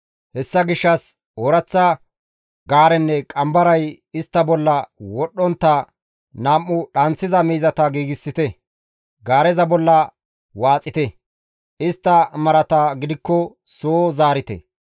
Hessa gishshas ooraththa gaarenne qambaray istta morggen wodhdhontta nam7u dhanththiza miizata giigsite; gaareza bolla waaxite; istta marata gidikko soo zaarite.